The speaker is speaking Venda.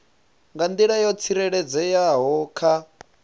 nga nḓila yo tsireledzeaho kha